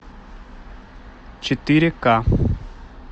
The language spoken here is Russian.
четыре к